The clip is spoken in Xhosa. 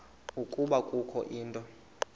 ukuba kukho into